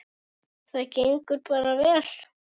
Það gengur bara vel.